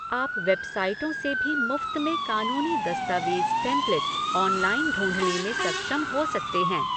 आप वेबसाइटों से भी मुफ़्त में कानूनी दस्तावेज़ टेम्पलेट ऑनलाइन ढूंढ़ने में सक्षम हो सकते हैं।